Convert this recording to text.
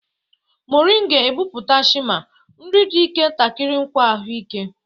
Moringa epupụta shima; nri di ike takiri nkwa ahụike.